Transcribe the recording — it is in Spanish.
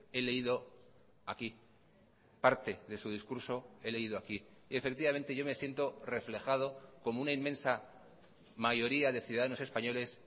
he leído aquí parte de su discurso he leído aquí y efectivamente yo me siento reflejado como una inmensa mayoría de ciudadanos españoles